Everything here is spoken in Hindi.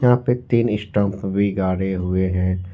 यहां पे तीन स्टांप भी गाड़े हुए हैं।